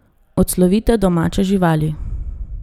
Odslovite domače živali.